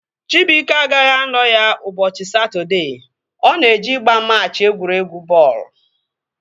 Chibuike agaghị anọ ya ụbọchị Satọdee, ọ na-eje ịgba machị egwuregwu bọọlụ